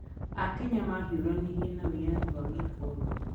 Akenya mahiũranirie na wĩyathi wa gĩkoroni.